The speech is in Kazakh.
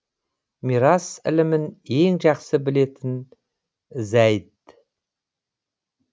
мирас ілімін ең жақсы білетін зәйд